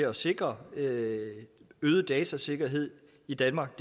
at sikre øget øget datasikkerhed i danmark